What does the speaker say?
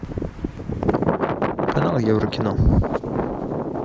канал еврокино